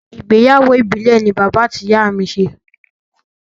Ìgbéyàwó ìbìlẹ̀ ni bàbá àti ìyá mi ṣe.